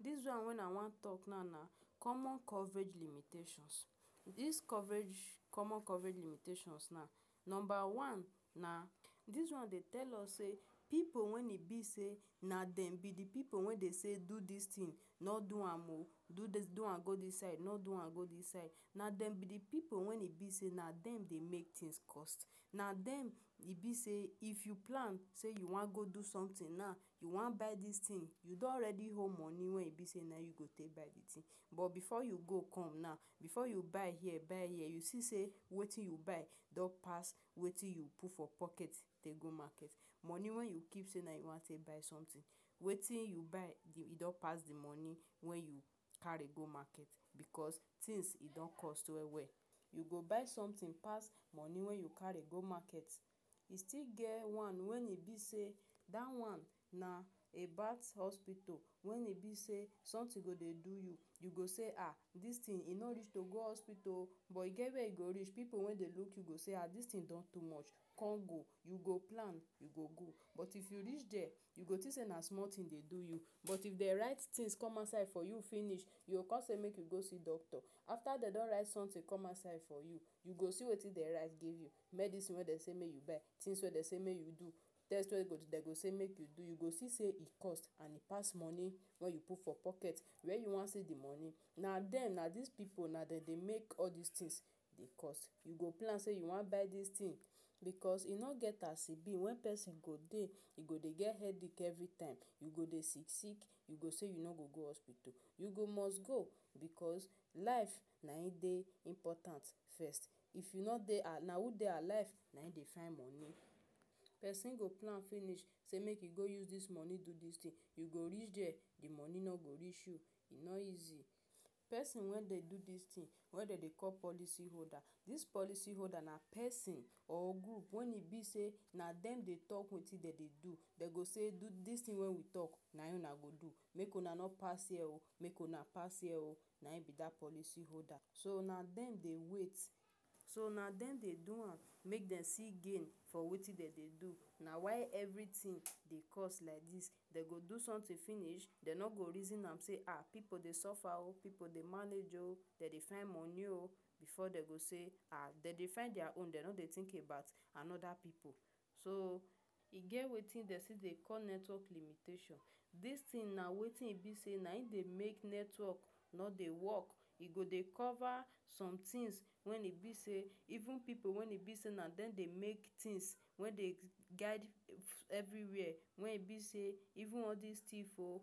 Dis one Wey I Wan Talk Now Na Common Coverage Limitations Dis coverage common coverage limitations now: Number one na, dis one dey tell us say, pipu wen e be say na dem be the pipu wen dey say: “Do dis thing,” “No do am oh!” “Do dis do am go dis side,” “No do am go dis side.” Na dem be the pipu wen e be say na dem dey make things cost. Na dem e be say, if you plan say you wan go do something now — you wan buy dis thing — you don already hold money wen e be say na im you go take buy the thing. But before you go come now, before you buy here, buy here, you go see say wetin you wan buy don pass wetin you put for pocket dey go market, money wen you keep say you wan take buy something — wetin you buy don pass the money wen you carry go market — because things e don cost well well. You go buy something pass monie wey you carry go market. E still get one wen e be say — dat one na a bout hospital. When e be say something go dey do you, you go say: “um Dis thing e no reach to go hospital oh!” But e get where e go reach — pipu wey dey look you go say: “um Dis thing don too much Con go.” You go plan, you go go. But if you reach there, you go think say na small thing dey do you. But if dem write things come outside for you finish, you go con say make you go see doctor. After dem don write something come outside for you, you go see wetin dem write give you: • Medisin wey dem say make you buy, • Things wey dem say make you do, • Test wey dem say make you do — You go see say e cost, and e pass monie wey you put for pocket. Where you wan see the monie? Na dem — na dis pipu — na dem dey make all dis things e cost. You go plan say you wan buy dis thing, because e no get as e be when pesin go dey — e go dey get headache every time, e go dey sick-sick. You go say you no go go hospital — you go must go — because life na im dey important first. If you no dey a… na who dey alive nayim dey find monie? Pesin go plan finish say make e go use dis monie do dis thin — you go reach there — the money no go reach you. E no easy. Pesin wen dey do dis thing — wey dem dey call am policy holder. Dis policy holder na pesin or group wen e be say na dem dey talk wetin dey dey do. Dem go say: “Do dis Dis thing wey we talk — na him una go do. Make una no pass here. Make una pass here oh!” Na him be dat policy holder so. So na dem dey wait… so na dem dey do am. Make dem see gain for wetin dem dey do — na why everything dey cost like dis. Dem go do something finish — dem no go reason am say: “um Pipu dey suffer oh! Pipu dey manage oh! Dem dey find money oh!” Before dem go say — dem dey find their own — dem no dey think about another pipu. so oh E Get Wetin Dem Still Dey Call Network Limitation Dis tin na wetin e be say — nayim dey make network no dey work. E go dey cover some things when e be say even pipu wen e be say na dem dey make things — wey dey guide everywhere — even all dis thief oh!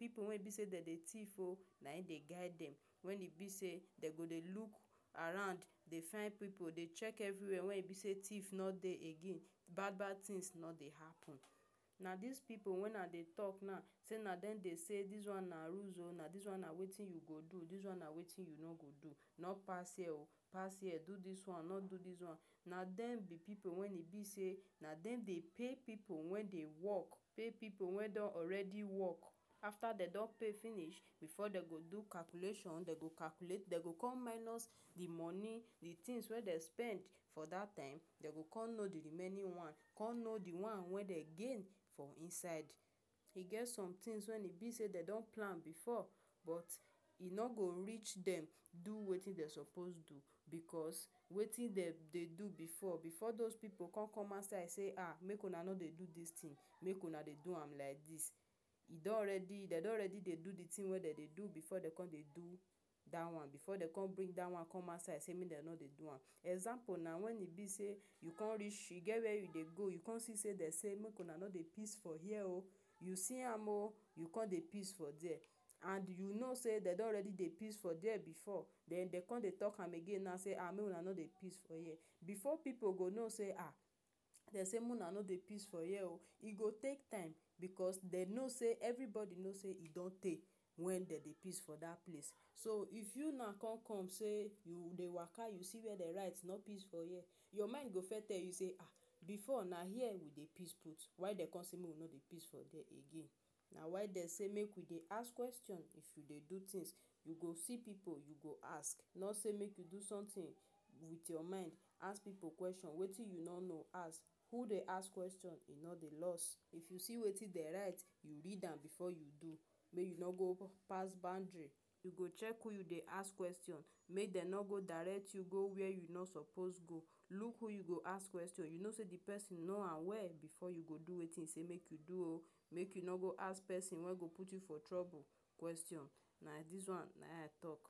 Pipu wey e be say na dem dey thief oh— na dem dem dey guide. When e be say dem go dey look around — dey find pipu — dey check everywhere — wen e be say thief no dey again. Bad bad things no go dey happen. Na dis pipu wen I dey talk now — say na dem dey say: • “Dis one na rules oh!” • “Dis one na wetin you go do.” • “Dis one na wetin you no go do.” • “No pass here oh!, pass here.” do dis one, no do dis one. Na dem be pipu wey e be say — na dem dey pay pipu wen dey work — pay pipu wey don already work. After dem don pay finish, before dem go do calculation — dem go con calculate — dem go con minus the monie — the things wey dem don spend for dat time — dem go con know the remaining one — con know the one wen be gain inside. E get some things wey e be say dem don plan before — but e no go reach dem do wetin dem suppose do. Because, wetin dem dey do before… before those pipu con come outside say: “um Make una no do dis thing. Make una dey do am like dis.” E don ready — dem don ready dey do the thing wey dem dey do before dem con dey do dat one. Before dem con bring dat one come outside sey mey dem no dey do am. Example na… When e be say you con reach get where you dey go — you con see say dem say: “Make una no dey piss for here.” You see am oh! You con dey piss for there. And you know say dem don already dey piss for there before den dey con dey tok am again na say um may una no dey piss for here” Before pipu go no say um dem say mo una no dey piss for here oh! E go take time — because dem no say everybody know say e don tey wey dem dey piss for dat place. So, if you now con come see say you dey waka you see where dem write: “No piss for here,” Your mind go first tell you say um: “Before na here we dey piss put — why dem con say make we no dey piss for there again?” Na why dem say make we dey ask question if we dey do things. You go see pipu, you go ask. No say: “Make you do something with your mind.” Ask pipu question — wetin you no know. Who dey ask question no dey lost. If you see wetin dem write — read am before you do. Make you no go pass boundary. You go check who you dey question. Make dem no go direct you go where you no suppose go. Look who you go ask question. You know say the pesin know am well before you go do wetin e say make you do oh! Make you no go ask pesin wey go put you for trouble oh! Question na dis one na him I talk.